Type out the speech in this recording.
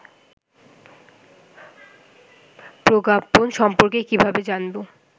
প্রজ্ঞাপন সম্পর্কে কিভাবে জানবো